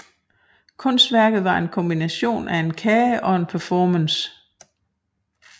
Kunstværket var en kombination af en kage og en performance